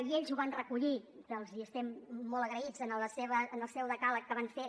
i ells ho van recollir que els hi estem molt agraïts en el seu decàleg que van fer